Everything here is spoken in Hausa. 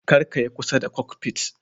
Kar ka yi kusa da "kokfit".